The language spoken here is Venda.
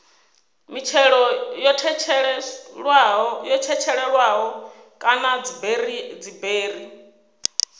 mitshelo yo tshetshelelwaho kana dziberi